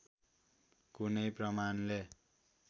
कुनै प्रमाणले